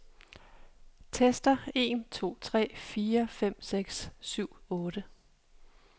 Tester en to tre fire fem seks syv otte.